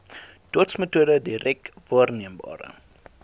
dotsmetode direk waarneembare